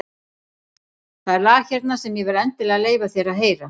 Það er lag hérna sem ég verð endilega að leyfa þér að heyra.